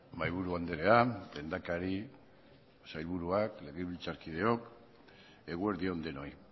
mahaiburu andrea lehendakari sailburuak legebiltzarkideok eguerdi on denoi